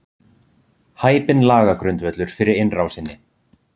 Hæpinn lagagrundvöllur fyrir innrásinni